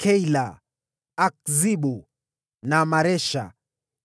Keila, Akzibu na Maresha;